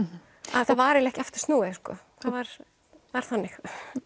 það var ekki aftur snúið það var var þannig